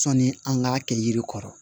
Sɔnni an k'a kɛ yiri kɔrɔ